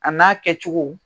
A n'a kɛcogo,